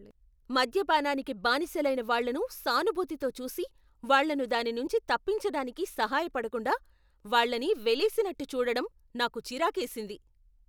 మద్యపానానికి బానిసలైన వాళ్ళను సానుభూతితో చూసి వాళ్ళను దాని నుంచి తప్పించడానికి సహాయపడకుండా, వాళ్ళని వెలేసినట్టు చూడడం నాకు చిరాకేసింది.